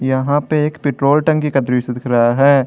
यहां पे एक पेट्रोल टंकी का दृश्य दिख रहा है।